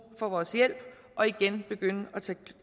for vores hjælp og igen begynde